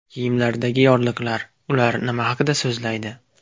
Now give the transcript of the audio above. Kiyimlardagi yorliqlar: ular nima haqida so‘zlaydi?.